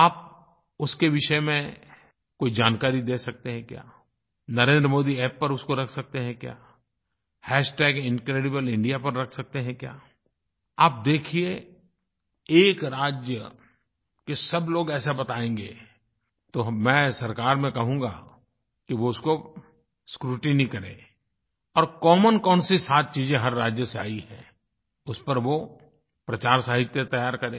आप उसके विषय में कोई जानकारी दे सकते हैं क्या NarendraModiApp पर उसको रख सकते हैं क्या इनक्रेडिब्लेइंडिया हैश टैग इनक्रेडिब्लेइंडिया पर रख सकते हैं क्या आप देखिये एक राज्य के सब लोग ऐसा बतायेंगे तो मैं सरकार में कहूँगा कि वो उसको स्क्रूटिनी करे और कॉमन कौनसी सात चीज़े हर राज्य से आई हैं उस पर वो प्रचारसाहित्य तैयार करें